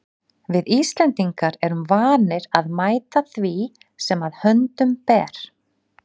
Við Íslendingar erum vanir að mæta því sem að höndum ber.